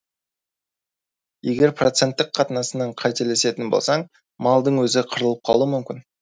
егер проценттік қатынасынан қателесетін болсаң малдың өзі қырылып қалуы мүмкін